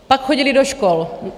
Pak chodili do škol.